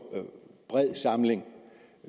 bred samling